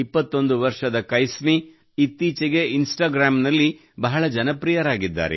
21 ವರ್ಷದ ಕೈಸ್ಮಿ ಇತ್ತೀಚೆಗೆ ಇನ್ಸ್ಟಾಗ್ರಾಮ್ ನಲ್ಲಿ ಬಹಳ ಜನಪ್ರಿಯರಾಗಿದ್ದಾರೆ